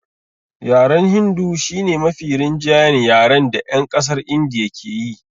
Yaren hindu shi ne mafi rinjayen yaren da 'yan ƙasar Indiya ke yi